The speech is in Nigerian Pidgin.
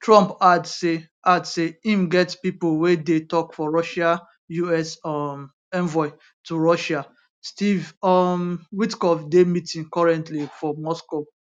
trump add say add say im get pipo wey dey tok for russia us um envoy to russia steve um witkoff dey meeting currently for moscow